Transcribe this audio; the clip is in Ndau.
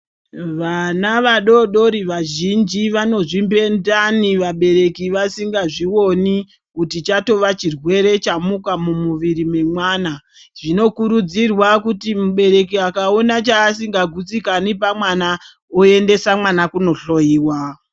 Vana vadodori vazhinji vanozvimbe ndani vabereki vasingazvioni kuti chatova chirwere chamuka mumuviri wemwana. Zvinokurudzirwa kuti mubereki akaone chaasingagutsikani pamwana, oendesa mwana kunohloiwa.